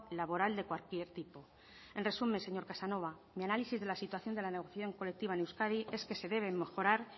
laboral de cualquier tipo en resumen señor casanova mi análisis de la situación de la negociación colectiva en euskadi es que se debe mejorar